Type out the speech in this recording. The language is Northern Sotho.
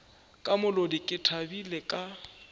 ka molodi ke thabile ka